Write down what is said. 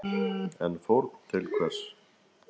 En fórn til hvers?